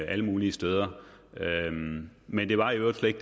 alle mulige steder men det var i øvrigt slet